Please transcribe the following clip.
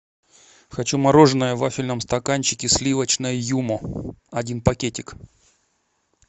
хочу мороженое в вафельном стаканчике сливочное юмо один пакетик